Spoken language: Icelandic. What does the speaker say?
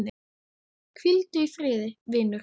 Hvíldu í friði, vinur.